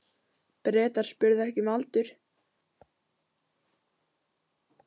Bretar spurðu ekki um aldur.